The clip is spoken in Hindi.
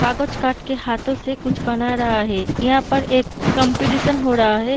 कागज काट के हाथो से कुछ बना रहा है यहाँ पे एक कॉम्पिटिशन हो रहा है।